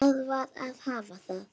Það varð að hafa það.